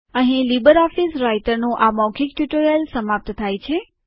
અહીં લીબરઓફીસ રાઈટરનું આ મૌખિક ટ્યુટોરીયલ સમાપ્ત થાય છે